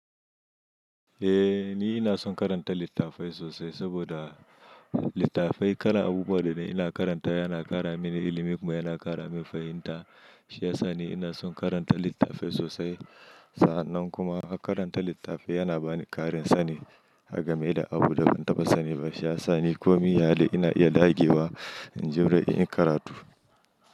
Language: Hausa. Eh ni ina son karanta littafai sosai saboda littafai karanta abubuwan da nay, ina karanta yana kara mini ilimi kuma yana kara min fahimta. Shi ya sa ni ina son karanta littafai sosai. Sa'annan kuma karanta littafi yana bani ƙarin sani agame da abu da ban taɓa sani ba. Shi ya sa ni komai iyali ina iya ɗage wa inji wurin in karatu.